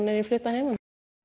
er ég flutt að heiman